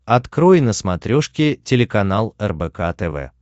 открой на смотрешке телеканал рбк тв